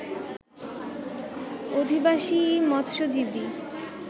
অধিবাসীই মৎস্যজীবী